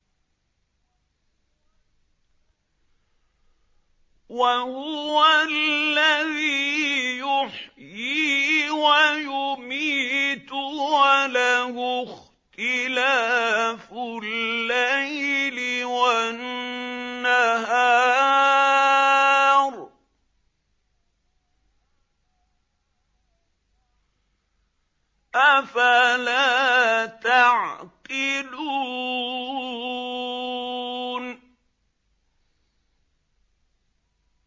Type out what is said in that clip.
وَهُوَ الَّذِي يُحْيِي وَيُمِيتُ وَلَهُ اخْتِلَافُ اللَّيْلِ وَالنَّهَارِ ۚ أَفَلَا تَعْقِلُونَ